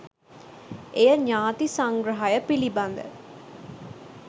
එය ඥාති සංග්‍රහය පිළිබඳ